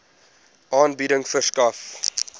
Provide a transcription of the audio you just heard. aanbieding verskaf